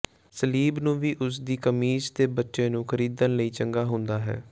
ਸਲੀਬ ਨੂੰ ਵੀ ਉਸ ਦੀ ਕਮੀਜ਼ ਦੇ ਬੱਚੇ ਨੂੰ ਖਰੀਦਣ ਲਈ ਚੰਗਾ ਹੁੰਦਾ ਹੈ